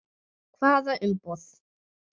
Hvaða umboð?